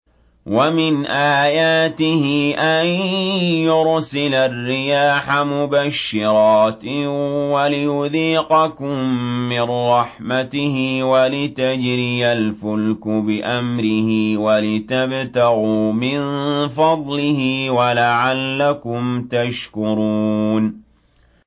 وَمِنْ آيَاتِهِ أَن يُرْسِلَ الرِّيَاحَ مُبَشِّرَاتٍ وَلِيُذِيقَكُم مِّن رَّحْمَتِهِ وَلِتَجْرِيَ الْفُلْكُ بِأَمْرِهِ وَلِتَبْتَغُوا مِن فَضْلِهِ وَلَعَلَّكُمْ تَشْكُرُونَ